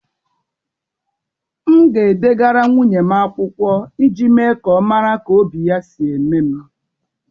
M ga-edegara nwunye m akwụkwọ iji mee ka ọ mara ka obi ya si eme m.